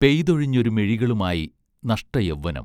പെയ്തൊഴിഞ്ഞൊരു മിഴികളുമായി നഷ്ടയൗവ്വനം